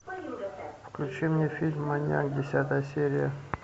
включи мне фильм маньяк десятая серия